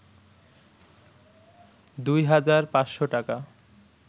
২ হাজার ৫শ’ টাকা